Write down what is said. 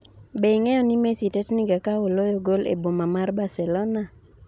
be ing'eyo ni Messi tetniga ka oloyo gol e boma mar Barcelona?